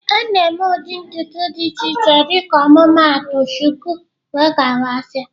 Ọ na-eme ụdị ntutu dị iche iche dịka ọmụmaatụ shuku wdg